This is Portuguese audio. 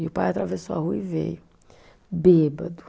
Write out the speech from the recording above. E o pai atravessou a rua e veio, bêbado.